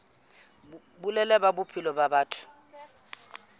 boleng ba bophelo ba batho